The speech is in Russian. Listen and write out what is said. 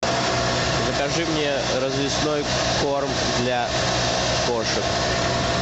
закажи мне развесной корм для кошек